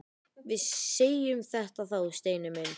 Við segjum þetta þá, Steini minn!